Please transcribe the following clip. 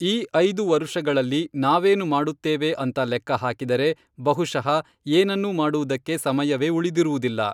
ಈ ಐದು ವರುಷಗಳಲ್ಲಿ ನಾವೇನು ಮಾಡುತ್ತೇವೆ ಅಂತ ಲೆಕ್ಕಹಾಕಿದರೆ, ಬಹುಶಃ ಏನನ್ನೂ ಮಾಡುವುದಕ್ಕೆ ಸಮಯವೇ ಉಳಿದಿರುವುದಿಲ್ಲ.